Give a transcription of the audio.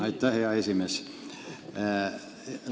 Aitäh, hea esimees!